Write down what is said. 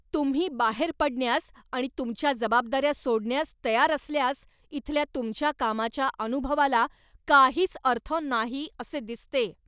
तुम्ही बाहेर पडण्यास आणि तुमच्या जबाबदाऱ्या सोडण्यास तयार असल्यास इथल्या तुमच्या कामाच्या अनुभवाला काहीच अर्थ नाही असे दिसते.